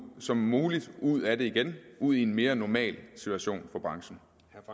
som muligt ud af det igen og ud i en mere normal situation for branchen